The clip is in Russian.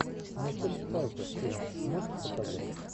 мишель пфайффер фильм можешь показать